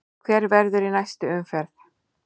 Hver verður í næstu umferð?